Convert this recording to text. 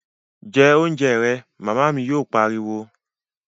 Jẹ oúnjẹ rẹ', Màmá mi yóò pariwo